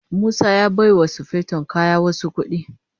Musa ya baiwa sufeton kaya wasu kuɗi.